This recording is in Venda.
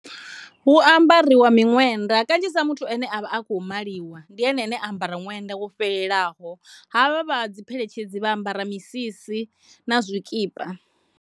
Hu ambariwa miṅwebda kanzhisa muthu ane avha a tshi khou maliwa ndi ene ane a ambara ṅwenda wo fhelelaho havha vha dzi pheletshedzi vha ambara misisi na zwikipa.